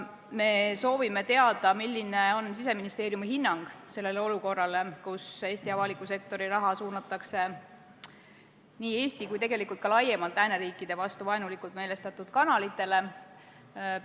Me soovime teada, milline on Siseministeeriumi hinnang olukorrale, kus Eesti avaliku sektori raha suunatakse nii Eesti kui ka laiemalt lääneriikide vastu vaenulikult meelestatud kanalite tegevusse.